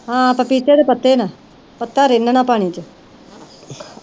ਹਾਂ ਪਪੀਤੇ ਦੇ ਪੱਤੇ ਨਾ ਪੱਤਾ ਰਿੰਨਨਾ ਪਾਣੀ ਚ